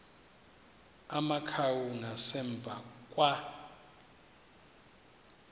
amakhawu ngasemva kwa